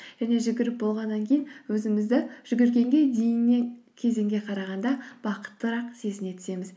және жүгіріп болғаннан кейін өзімізді жүгіргенге кезеңге қарағанда бақыттырақ сезіне түсеміз